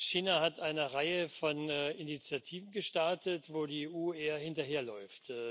China hat eine Reihe von Initiativen gestartet, wo die EU eher hinterherläuft.